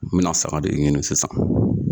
N bi na saga de ɲini sisan